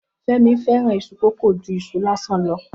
Femi fẹ́ràn iṣu kókò ju iṣu lásán lọ.